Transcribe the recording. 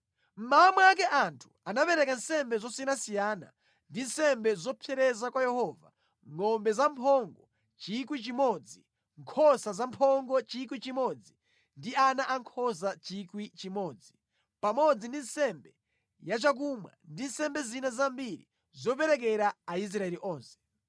Mmawa mwake anthu anapereka nsembe zosiyanasiyana ndi nsembe zopsereza kwa Yehova; ngʼombe zamphongo 1,000, nkhosa zamphongo 1,000 ndi ana ankhosa 1,000, pamodzi ndi nsembe yachakumwa ndi nsembe zina zambiri zoperekera Aisraeli onse.